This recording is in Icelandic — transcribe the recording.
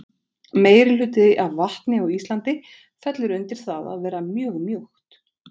meirihluti af vatni á íslandi fellur undir það að vera mjög mjúkt